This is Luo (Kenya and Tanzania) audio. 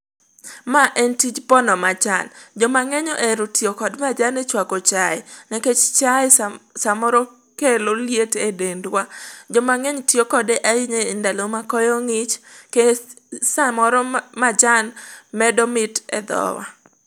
Ma en tij pono majan. Jomang'eny ohero tiyo kod majan e chwako chae. Nikech chae samoro kelo liet e dendwa. Jomang'eny tiyo kode ahinya e ndalo ma koyo ng'ich, kech samoro majan medo mit e dhowa.